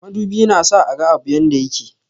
Madubi na sa a gan abun dake baya.